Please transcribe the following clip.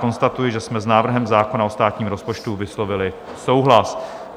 Konstatuji, že jsme s návrhem zákona o státním rozpočtu vyslovili souhlas.